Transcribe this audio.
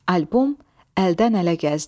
Albom əldən-ələ gəzdi.